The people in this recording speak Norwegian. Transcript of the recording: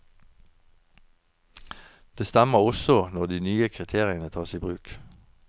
Det stemmer også, når de nye kriteriene tas i bruk.